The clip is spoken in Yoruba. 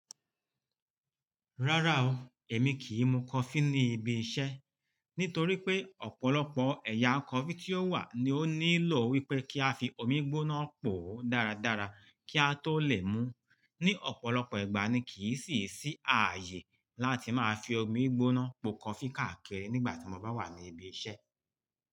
Rárá o, èmi kì í mu coffee ní ibi iṣẹ́. Nítorí pé ọ̀pọ̀lọpọ̀ ẹ̀yà coffee tí ó wà ni ó nílò wípé kí a fi omi gbóná pò ó dáradára kí a tó lè mú. Ni ọ̀pọ̀lọpọ̀ ìgbà ni kì í sì ṣì ààyè láti máa fi omi gbóná pò coffee káàkiri nígbà tí mo bá wà ní ibi iṣẹ́